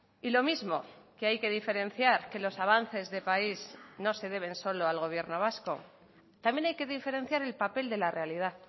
y lo mismo que hay que diferenciar que los avances de país no se deben solo al gobierno vasco también hay que diferenciar el papel de la realidad